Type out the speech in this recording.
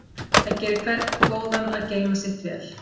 Það gerir hvern góðan að geyma vel sitt.